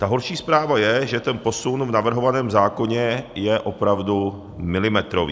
Ta horší zpráva je, že ten posun v navrhovaném zákoně je opravdu milimetrový.